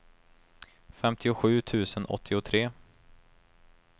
femtiosju tusen åttiotre